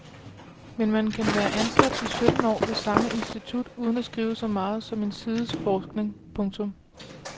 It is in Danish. Men man kan være ansat i sytten år ved samme institut uden at skrive så meget som en sides forskning. punktum